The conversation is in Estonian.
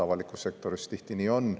Avalikus sektoris tihti nii on.